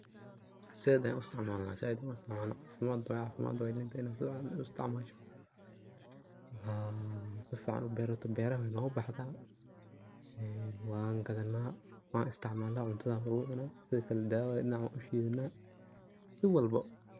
Saidh ayan uisticmalnaa saidh ayan uisticmalnaa, cafimadh waye cafimadh linta inadh sufican uisticmashoo ooo, sufican uberato beraxaa nogabadhaa wangadhanaa, wanisticmalnaa cuntadha walagucuna, sidho kale dawoo waye, dinac wanushidhanaa, si walboo.